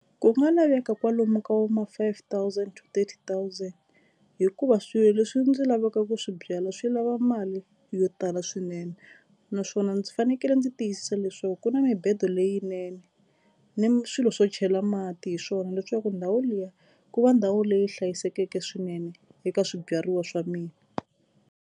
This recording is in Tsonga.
Ku nga laveka kwalomu ka vo ma five thousand two thousand hikuva swilo leswi ndzi lavaka ku swi byala swi lava mali yo tala swinene naswona ndzi fanekele ndzi tiyisisa leswaku ku na mibedo leyinene ni swilo swo chela mati hi swona leswaku ndhawu liya ku va ndhawu leyi hlayisekeke swinene eka swibyariwa swa mina.